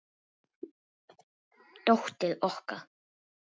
Dóttir okkar?